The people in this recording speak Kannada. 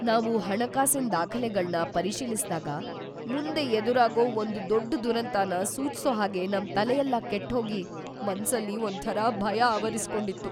ನಾವು ಹಣಕಾಸಿನ್ ದಾಖಲೆಗಳ್ನ ಪರಿಶೀಲಿಸ್ತಿದ್ದಾಗ, ಮುಂದೆ ಎದುರಾಗೋ ಒಂದ್‌ ದೊಡ್ಡ್ ದುರಂತನ ಸೂಚ್ಸೋ ಹಾಗೆ ನಮ್‌ ತಲೆಯೆಲ್ಲ ಕೆಟ್ಹೋಗಿ, ಮನ್ಸಲ್ಲಿ ಒಂಥರ ಭಯ ಆವರಿಸ್ಕೊಂಡಿತ್ತು.